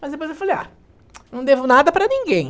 Mas depois eu falei, ah, não devo nada para ninguém.